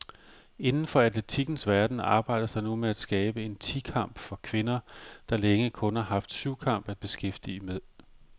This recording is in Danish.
Inden for atletikkens verden arbejdes der nu med at skabe en ti kamp for kvinder, der længe kun har haft syvkamp at beskæftige med.